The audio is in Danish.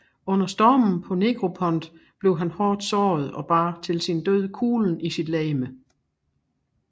Under stormen på Negropont blev han hårdt såret og bar til sin død kuglen i sit legeme